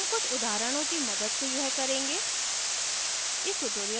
हम कुछ उदाहरणों की मदद से यह करेंगे